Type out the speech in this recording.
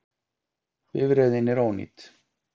Bifreiðin er ónýt